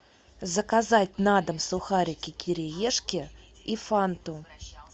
заказать на дом сухарики кириешки и фанту